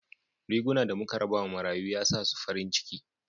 Riguna da muka raba ma marayu ya sa su farin ciki